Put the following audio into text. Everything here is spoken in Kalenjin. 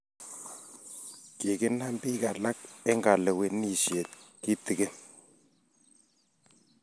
kikinam bik alak eng kalewenisjiet kitikin